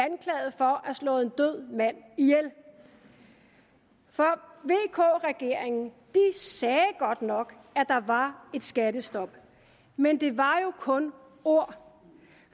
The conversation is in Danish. have slået en død mand ihjel vk regeringen sagde godt nok at der var et skattestop men det var jo kun ord